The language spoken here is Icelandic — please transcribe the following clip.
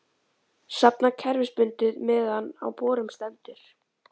safnað kerfisbundið meðan á borun stendur.